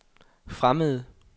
fremmede